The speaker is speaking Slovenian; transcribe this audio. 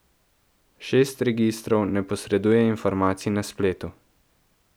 Šest registrov ne posreduje informacij na spletu.